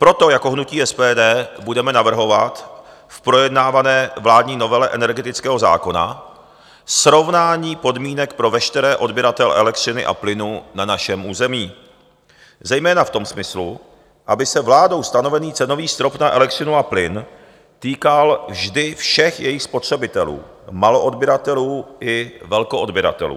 Proto jako hnutí SPD budeme navrhovat k projednávané vládní novele energetického zákona srovnání podmínek pro veškeré odběratele elektřiny a plynu na našem území, zejména v tom smyslu, aby se vládou stanovený cenový strop na elektřinu a plyn týkal vždy všech jejich spotřebitelů, maloodběratelů i velkoodběratelů.